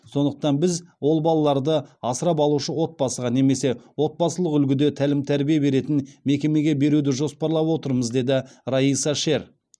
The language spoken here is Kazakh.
сондықтан біз ол балаларды асырап алушы отбасыға немесе отбасылық үлгіде тәлім тәрбие беретін мекемеге беруді жоспарлап отырмыз деді раиса шер